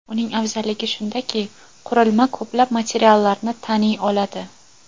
Uning afzalligi shundaki, qurilma ko‘plab materiallarni taniy oladi.